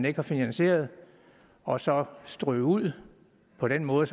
ikke er finansieret og så strø dem ud på den måde